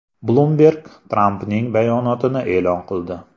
Bloomberg Trampning bayonotini e’lon qildi.